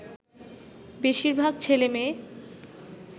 বেশিরভাগ ছেলেমেয়ে